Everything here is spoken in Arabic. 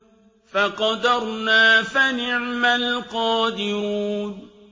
فَقَدَرْنَا فَنِعْمَ الْقَادِرُونَ